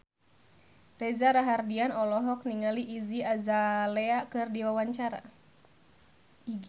Reza Rahardian olohok ningali Iggy Azalea keur diwawancara